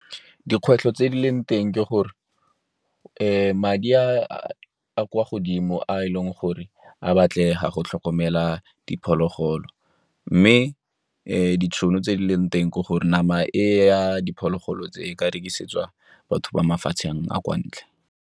Dikgwetlho tse di leng teng ke gore madi a kwa godimo a e leng gore a batlega go tlhokomela diphologolo, mme ditšhono tse di leng teng ke gore nama e ya diphologolo tse e ka rekisetswa batho ba mafatsheng a kwa ntle.